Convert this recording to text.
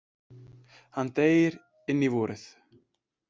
Hann deyr inn í vorið.